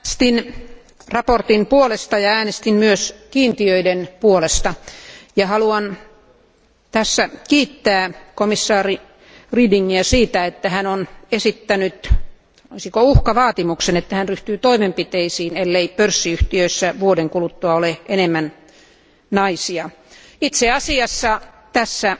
Arvoisa puhemies, äänestin mietinnön puolesta ja äänestin myös kiintiöiden puolesta. Haluan tässä kiittää komissaari Redingiä siitä, että hän on esittänyt, sanoisinko uhkavaatimuksen, että hän ryhtyy toimenpiteisiin, ellei pörssiyhtiöissä vuoden kuluttua ole enemmän naisia. Itse asiassa tässä